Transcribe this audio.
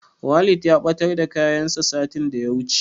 Walid ya ɓatar da kayansa satin da ya wuce.